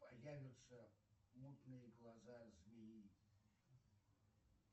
появятся мутные глаза змеи